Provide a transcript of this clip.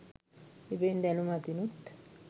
එබැවින් දැනුම අතිනුත්,